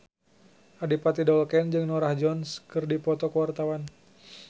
Adipati Dolken jeung Norah Jones keur dipoto ku wartawan